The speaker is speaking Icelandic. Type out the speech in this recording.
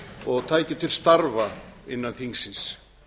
og tækju til starfa innan þingsins